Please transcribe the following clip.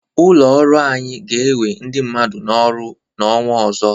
Ụlọ orụ anyị ga-ewe ndị mmadụ n´ọrụ n'ọnwa ọzọ.